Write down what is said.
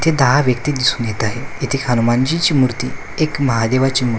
इथे दहा व्यक्ती दिसून येत आहे इथे हनुमानजीची मूर्ती एक महादेवाची मूर्ती--